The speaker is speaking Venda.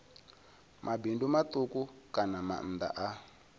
mabindu matuku kana maanda a